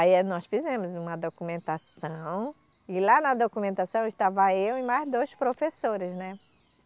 Aí nós fizemos uma documentação e lá na documentação estava eu e mais dois professores, né?